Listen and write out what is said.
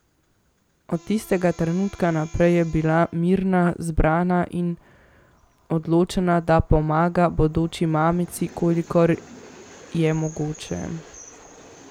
Od tistega trenutka naprej je bila mirna, zbrana in odločena, da pomaga bodoči mamici, kolikor je mogoče.